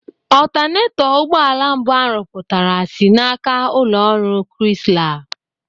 Ọtanetọ ụgbọala mbụ a rụpụtara si n'aka ụlọ ọrụ Krisla.